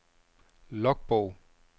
logbog